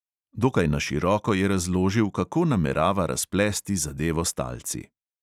Dokaj na široko je razložil, kako namerava razplesti zadevo s talci.